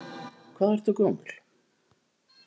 Hvað ertu gömul?